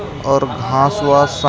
और घास वास स--